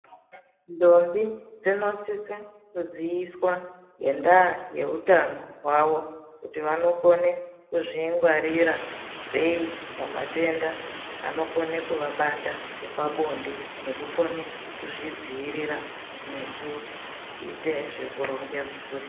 Ndombi dzinosise kuziviswa ngenda yeutano hwawo kuti vanokone kuzvingwarira sei pamatenda anokone kuvabata epabonde nekukone kuzvidzivirira nekuite zvekuronge mhuri.